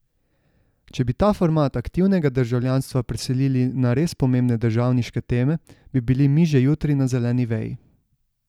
Če bi ta format aktivnega državljanstva preselili na res pomembne državniške teme, bi bili mi že jutri na zeleni veji.